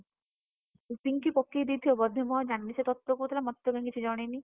ପିଙ୍କି ପକେଇଦେଇଥିବ ବୋଧେ ମୁଁ ଆଉ ଜାଣିନି ସେ ତତେ କହୁଥିଲା ସେ ମତେତ କାଇଁ କିଛି ଜଣେଇନି?